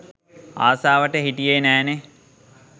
ආසාවට හිටියේ නෑනේ